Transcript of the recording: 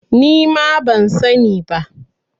Nima ban sani ba.